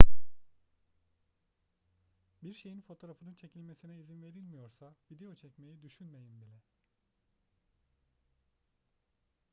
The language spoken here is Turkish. bir şeyin fotoğrafının çekilmesine izin verilmiyorsa video çekmeyi düşünmeyin bile